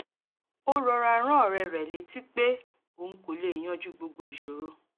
ó rọra rán ọ̀rẹ́ rẹ̀ létí pé òun kò lè yanjú gbogbo ìṣòro